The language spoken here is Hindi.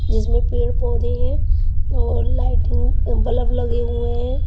जिसमें पेड़-पौधे हैं और लाइट में ब्लब लगे हुए हैं.